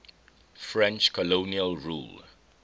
french colonial rule